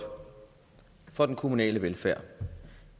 for den kommunale velfærd